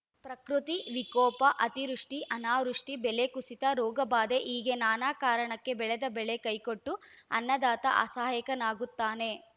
ಪ್ರಕೃತಿ ವಿಕೋಪ ಅತಿವೃಷ್ಟಿ ಅನಾವೃಷ್ಟಿ ಬೆಲೆ ಕುಸಿತ ರೋಗ ಬಾಧೆ ಹೀಗೆ ನಾನಾ ಕಾರಣಕ್ಕೆ ಬೆಳೆದ ಬೆಳೆ ಕೈಕೊಟ್ಟು ಅನ್ನದಾತ ಅಸಹಾಯಕನಾಗುತ್ತಾನೆ